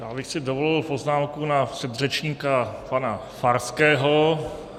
Já bych si dovolil poznámku na předřečníka pana Farského.